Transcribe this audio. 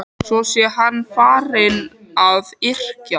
Svo sé hann farinn að yrkja.